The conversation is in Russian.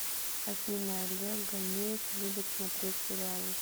афина олег ганеев любит смотреть сериалы